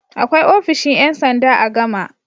Akwai ofishin ƴan sanda a Gama.